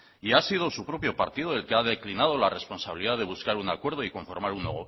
y ha sido su propio partido el que ha declinado la responsabilidad de buscar un acuerdo y conformar un